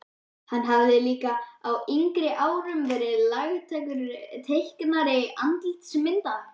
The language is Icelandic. Hann hafði líka á yngri árum verið lagtækur teiknari andlitsmynda.